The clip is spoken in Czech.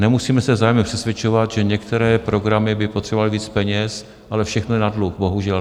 Nemusíme se vzájemně přesvědčovat, že některé programy by potřebovaly víc peněz, ale všechno je na dluh, bohužel.